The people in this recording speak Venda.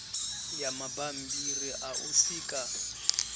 ya mabambiri a u sika